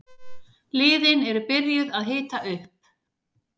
Liðin eru byrjuð að hita upp.